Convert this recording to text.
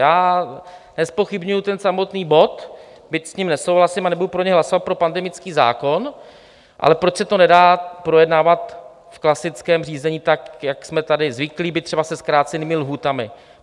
Já nezpochybňuji ten samotný bod, byť s ním nesouhlasím a nebudu pro něj hlasovat, pro pandemický zákon, ale proč se to nedá projednávat v klasickém řízení, tak jak jsme tady zvyklí, byť třeba se zkrácenými lhůtami?